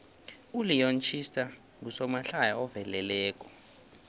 uleon schuster ngusomahlaya oveleleko